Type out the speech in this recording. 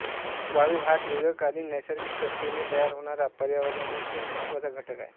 वाळू हा दीर्घकालीन नैसर्गिक प्रक्रियेने तयार होणारा पर्यावरणातील एक महत्वाचा घटक आहे